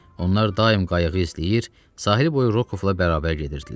Onlar daim qayığı izləyir, sahil boyu Rokovla bərabər gedirdilər.